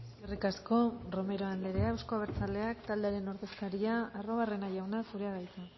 eskerrik asko romero andrea euzko abertzaleak taldearen ordezkaria arruabarrena jauna zurea da hitza